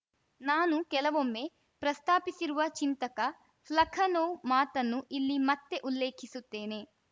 ನಾನು ಕೆಲವೊಮ್ಮೆ ಪ್ರಸ್ತಾಪಿಸಿರುವ ಚಿಂತಕ ಫ್ಲಖನೋವ್‌ ಮಾತನ್ನು ಇಲ್ಲಿ ಮತ್ತೆ ಉಲ್ಲೇಖಿಸುತ್ತೇನೆ